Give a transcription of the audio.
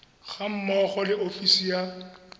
ga mmogo le ofisi ya